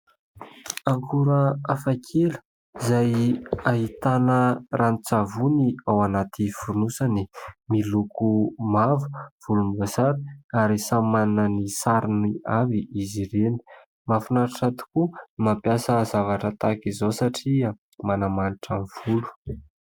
Akora hafa kely izay ahitana ranon-tsavony ao anaty fonosany. Miloko mavo, volomboasary ary samy manana ny sarony avy izy ireny. Mahafinaritra tokoa ny mampiasa zavatra tahaka izao satria manamanitra ny volo.